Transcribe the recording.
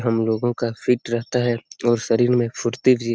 हम लोगों का फिट रहता है और शरीर में फुर्ती भी--